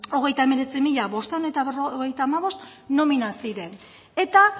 hogeita hemeretzi mila bostehun eta berrogeita hamabost nomina ziren eta